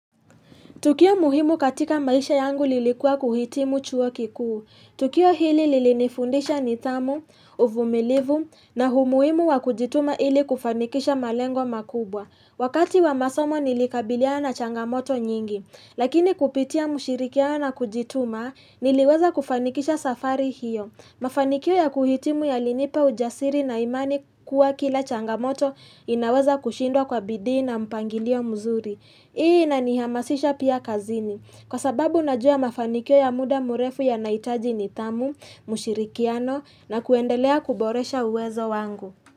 Tukio muhimu katika maisha yangu lilikuwa kuhitimu chuo kikuu Tukio hili lilinifundisha nidhamu, uvumilivu na humuhimu wa kujituma ili kufanikisha malengo makubwa Wakati wa masomo nilikabiliana na changamoto nyingi Lakini kupitia mushirikiano na kujituma niliweza kufanikisha safari hio Mafanikio ya kuhitimu ya linipa ujasiri na imani kuwa kila changamoto inaweza kushindwa kwa bidii na mpangilio mzuri Hii inanihamasisha pia kazini kwa sababu najua mafanikio ya muda murefu yanahitaji nidhamu, ushirikiano na kuendelea kuboresha uwezo wangu.